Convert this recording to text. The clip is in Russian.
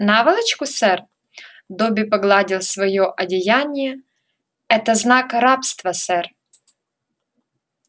наволочку сэр добби погладил своё одеяние это знак рабства сэр